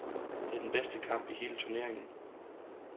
Det var den bedste kamp i hele turneringen.